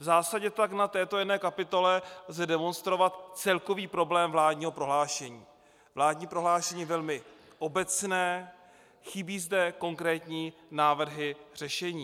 V zásadě tak na této jedné kapitole lze demonstrovat celkový problém vládního prohlášení: vládní prohlášení velmi obecné, chybí zde konkrétní návrhy řešení.